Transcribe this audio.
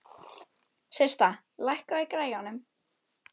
Systa, lækkaðu í græjunum.